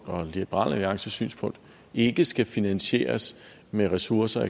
og liberal alliances synspunkt ikke skal finansieres med ressourcer